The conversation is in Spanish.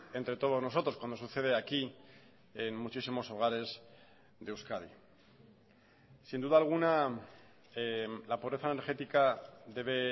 entre todos nosotros cuando sucede aquí en muchísimos hogares de euskadi sin duda alguna la pobreza energética debe